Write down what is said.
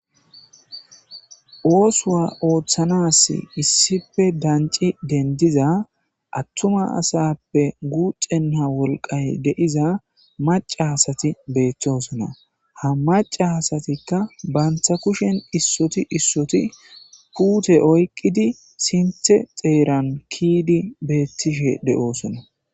oosuwa ooththanas issife danci dendiza attuma asappe guuxenna wolqay de'iza maca asati beetosona ha maca asatikka banta kushen issoti issoti puute oyqqidi sinthe xeeran kiidi beettishe de'oosona